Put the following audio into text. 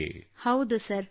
ಕೃತ್ತಿಕಾ ಹೌದು ಸರ್